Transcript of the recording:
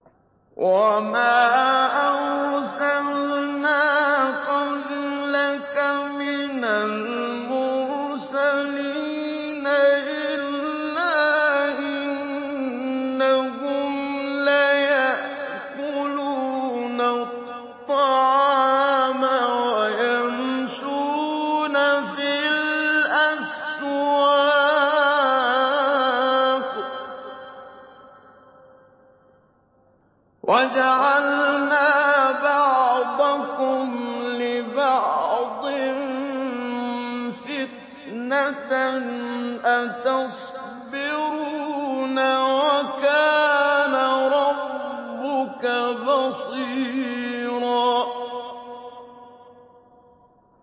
وَمَا أَرْسَلْنَا قَبْلَكَ مِنَ الْمُرْسَلِينَ إِلَّا إِنَّهُمْ لَيَأْكُلُونَ الطَّعَامَ وَيَمْشُونَ فِي الْأَسْوَاقِ ۗ وَجَعَلْنَا بَعْضَكُمْ لِبَعْضٍ فِتْنَةً أَتَصْبِرُونَ ۗ وَكَانَ رَبُّكَ بَصِيرًا